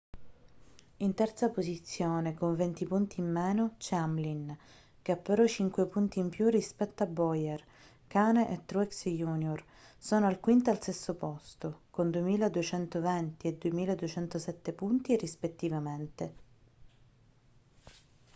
in terza posizione con venti punti in meno c'è hamlin che ha però cinque punti in più rispetto a bowyer kahne e truex jr sono al quinto e al sesto posto con 2.220 e 2.207 punti rispettivamente